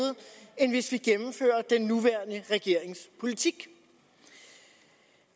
end hvis vi gennemfører den nuværende regerings politik